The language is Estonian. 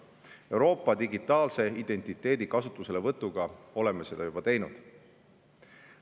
Euroopa digitaalse identiteedi kasutuselevõtuga oleme seda juba teinud.